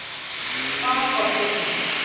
Og hvað olli því?